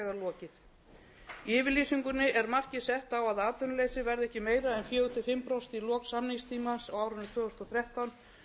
í yfirlýsingunni er markið sett á að atvinnuleysi verði ekki meira en fjórir til fimm prósent í lok samningstímans á árinu tvö þúsund og þrettán